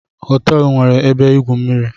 Hotel a nwere ebe igwu mmiri